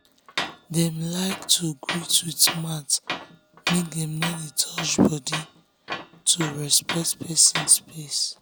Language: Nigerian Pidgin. dem like um to greet with mouth make dem no dey touch body to respect person space.